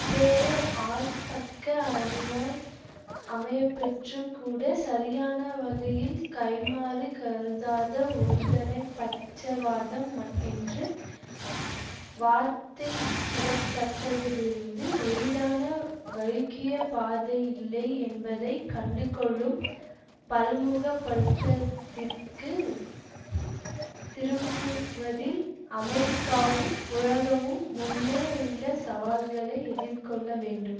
player ஆல் பக்க அணியாய் அமையப்பெற்றும் கூட சரியான வகையில் கைம்மாறு கருதாத ஒருதலைப்பட்சவாதம் என்று வார்த்தையிடப்பட்டதிலிருந்து எய்தான வழுக்கிய பாதை இல்லை என்பதை கண்டுகொள்ளும் பல்முகப்படுத்தத்திற்கு திரும்புவதில் அமெரிக்காவும் உலகமும் முன்னே உள்ள சவால்களை எதிர்கொள்ள வேண்டும்